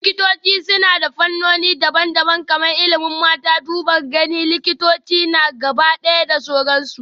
Likitoci suna da fannoni daban-daban kamar ilimin mata, duban gani, likitanci na gabaɗaya da sauransu